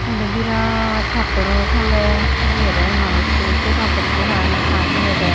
aa iyan daw birat pattoro toley jeyedey ei manuchu sey pattor bu parapang sa jeyedey.